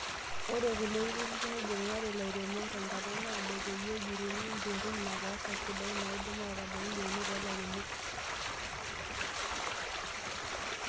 Ore kulo tururi neibung'are ilairemok tenkata naado peyie ejuruni mbekun napaasha sidain naidim ataabaiki yieunot oolairemok.